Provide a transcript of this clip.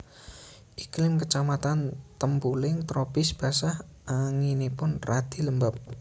Iklim kecamatan Tempuling tropis basah anginipun radi lembab